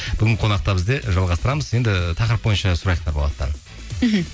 бүгінгі қонақта бізде жалғастырамыз енді тақырып бойынша сұрайық нұрболаттан мхм